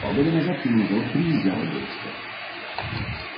полгода назад к нему на завод приезжала девушка